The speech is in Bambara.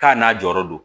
K'a n'a jɔyɔrɔ don